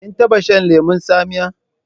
Kin taba shan lemon tsamiya?